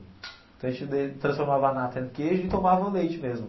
Então a gente de transformava a nata em queijo e tomava o leite mesmo.